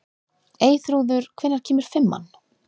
Eyþrúður, hvenær kemur fimman?